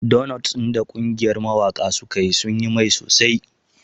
Donots ɗin da ƙungiyar mawaƙa suka yi sun yi mai sosai.